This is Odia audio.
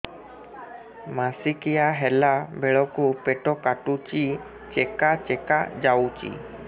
ମାସିକିଆ ହେଲା ବେଳକୁ ପେଟ କାଟୁଚି ଚେକା ଚେକା ଯାଉଚି